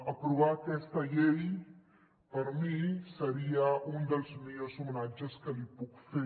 aprovar aquesta llei per mi seria un dels millors homenatges que li puc fer